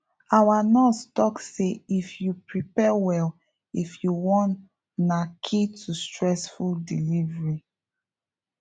our nurse talk say if you prepare well if you wan na key to stressfree delivery